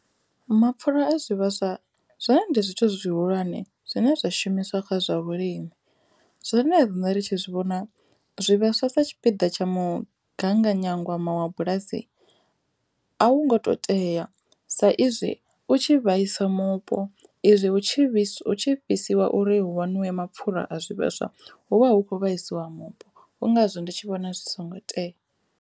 Mapfhulo a zwivhaswa zwone ndi zwithu zwi zwihulwane zwine zwa shumiswa kha zwa vhulimi zwori ni a ḓi wane ri tshi zwi vhona zwivhaswa sa tshipiḓa tsha mugaganyagwama wa bulasi a wu ngo to tea sa izwi u tshi vhaisa mupo izwi hu tshi vhuiswa hu tshi fhisiwa uri hu waṋuwe mapfhura a zwivhaswa hu vha hu khou vhasiwa mupo hu ngazwo ndi tshi vhona zwi songo tea.